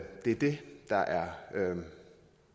det der er